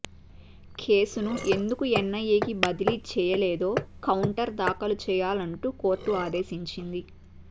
కేసును ఎందుకు ఎన్ఐఏకు బదిలీ చేయలేదో కౌంటర్ దాఖలు చేయాలంటూ కోర్టు ఆదేశించింది